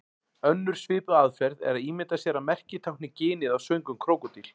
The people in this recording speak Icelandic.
Önnur svipuð aðferð er að ímynda sér að merkið tákni ginið á svöngum krókódíl.